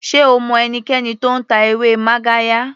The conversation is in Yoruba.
Sé o mọ ẹnikẹni tó ń ta ewé magarya.